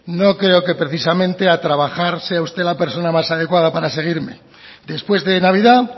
no creo que precisamente a trabajar sea usted la persona más adecuada para seguirme después de navidad